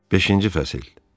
Beşinci fəsil.